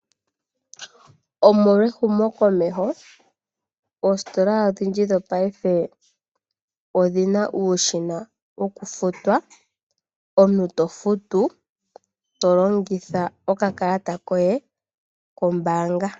Omolwa ehumokomeho, oositola odhindji dhopaife odhina uushina wokufuta. Omuntu tofutu, tolongitha okakalata koye kombaanga.